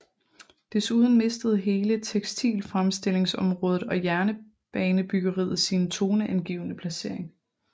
Desuden mistede hele tekstilfremstillingsområdet og jernbanebyggeriet sine toneangivende placering